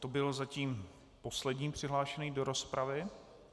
To byl zatím poslední přihlášený do rozpravy.